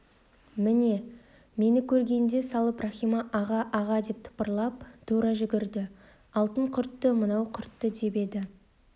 мені көре салып рахима аға аға деп тапырлап тұра жүгірді алтын құртты мынау құртты деп еді